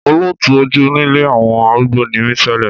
Olùtọ́jú nílé àwọn arúgbó ni mí tẹ́lẹ̀.